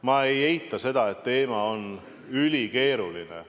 Ma ei eita, et teema on ülikeeruline.